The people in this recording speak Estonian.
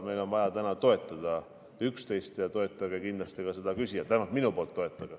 Meil on täna vaja üksteist toetada ja toetage kindlasti ka seda küsijat, vähemalt minu poolt.